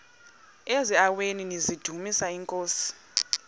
eziaweni nizidumis iinkosi